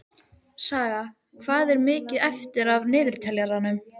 Saga, hvað er mikið eftir af niðurteljaranum?